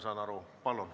Palun!